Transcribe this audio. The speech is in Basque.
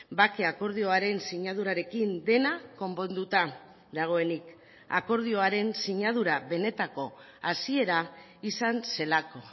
bake akordioaren sinadurarekin dena konponduta dagoenik akordioaren sinadura benetako hasiera izan zelako